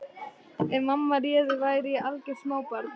Ef mamma réði væri ég algjört smábarn.